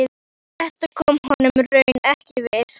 Þetta kom honum raunar ekkert við.